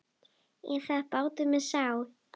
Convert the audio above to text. Er þetta bátur með sál?